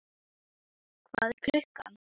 Mosi, hvað er klukkan?